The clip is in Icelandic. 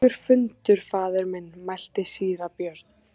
Langur fundur faðir minn, mælti síra Björn.